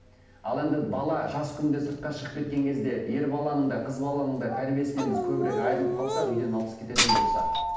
ал енді бала жас күнінде сыртқа шығып кеткен кезде ер баланың да қыз баланың да тәрбиесінен біз көбірек айрылып қалсақ үйден алыс кететін болса